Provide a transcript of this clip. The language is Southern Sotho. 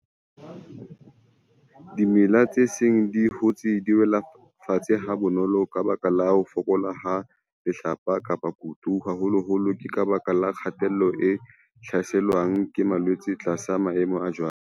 Dimela tse seng di hotse di wela fatshe ha bonolo ka baka la ho fokola ha lehlaka kapa kutu. Haholoholo ke ka baka la kgatello e hlaselwang ke malwetse tlasa maemo a jwalo.